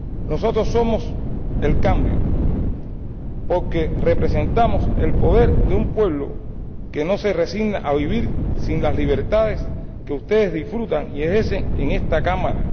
Nosotros somos el cambio, porque representamos el poder de un pueblo que no se resigna a vivir sin las libertades que ustedes disfrutan y ejercen en esta Cámara.